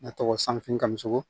Ne tɔgɔ sanfini kamamisogo